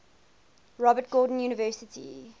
robert gordon university